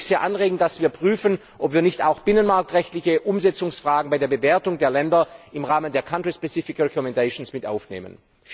Deswegen würde ich sehr anregen, dass wir prüfen, ob wir nicht auch binnenmarktrechtliche Umsetzungsfragen bei der Bewertung der Länder im Rahmen der country specific recommendations mit aufnehmen.